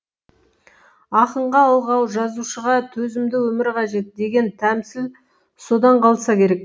ақынға алғау жазушыға төзімді өмір қажет деген тәмсіл содан қалса керек